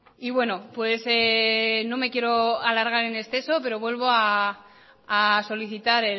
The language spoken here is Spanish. y bueno no me quiero alargar en exceso pero vuelvo a solicitar